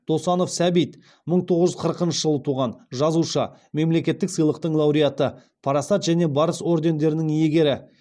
досанов сәбит мың тоғыз жүз қырықыншы жылы туған жазушы мемлекеттік сыйлықтың лауреаты парасат және барыс ордендерінің иегері